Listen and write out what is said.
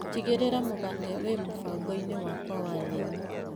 Tigĩrĩra mũgate wĩ mũbango-ini wakwa wa nyeni.